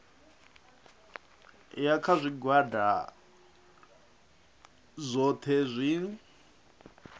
ya kha zwigwada zwohe zwi